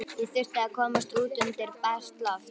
Ég þurfti að komast út undir bert loft.